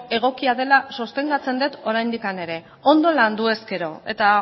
egokia dela sostengatzen det oraindik ere ondo landu ezkero eta